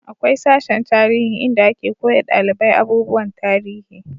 akwai sashen tarihi inda ake koya dalibai abubuwan tarihi